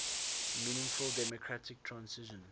meaningful democratic transition